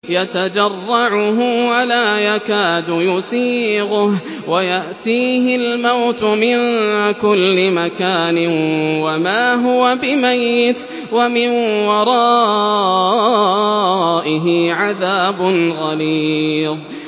يَتَجَرَّعُهُ وَلَا يَكَادُ يُسِيغُهُ وَيَأْتِيهِ الْمَوْتُ مِن كُلِّ مَكَانٍ وَمَا هُوَ بِمَيِّتٍ ۖ وَمِن وَرَائِهِ عَذَابٌ غَلِيظٌ